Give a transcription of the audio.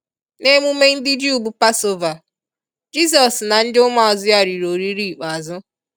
N'emume ndị-ju bu passover, Jizọs na ndi ụmụazụ ya riri oriri ikpeazụ.